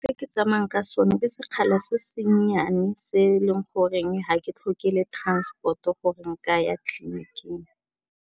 Se ke tsamayang ka sone ke sekgala se se nnyane se e leng goreng ha ke tlhoke le transport-o gore ke a ya tleliniking.